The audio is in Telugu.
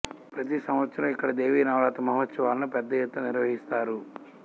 ప్రతి సంవత్సరం ఇక్కడ దేవీ నవరాత్రి మహోత్సవాలను పెద్దయెత్తున నిర్వహిస్తారు